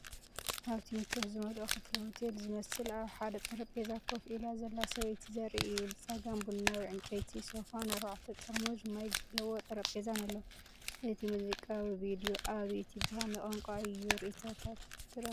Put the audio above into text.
ኣብቲ ምቾት ዝመልኦ ክፍሊ ሆቴል ዝመስል ኣብ ሓደ ጠረጴዛ ኮፍ ኢላ ዘላ ሰበይቲ ዘርኢ እዩ። ብጸጋም ቡናዊ ዕንጨይቲ ሶፋን ኣርባዕተ ጥርሙዝ ማይ ዘለዎ ጠረጴዛን ኣሎ። እዚ ሙዚቃዊ ቪድዮ ኣብ ዩቱብ ብኸመይ ቋንቋ እዩ ርእይቶታት ረኺቡ?